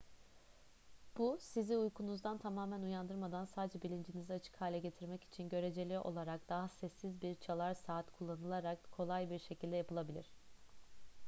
bu sizi uykunuzdan tamamen uyandırmadan sadece bilincinizi açık hale getirmek için göreceli olarak daha sessiz bir çalar saat kullanılarak kolay bir şekilde yapılabilir